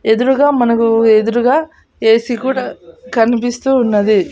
ఎదురుగా మనకు ఎదురుగా ఏ_సి కూడా కనిపిస్తూ ఉన్నది.